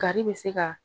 Kari bɛ se ka